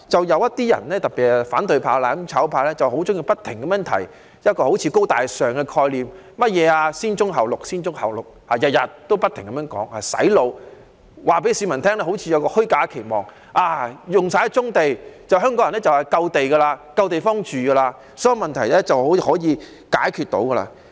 有些人，特別是反對派、"攬炒派"，很喜歡不停提出"高大上"的概念，不停"洗腦"式地說甚麼"先棕後綠"，似乎想給市民一個虛假的期望，當棕地用盡後，香港人便有足夠的土地和足夠的地方居住，所有問題便可以解決。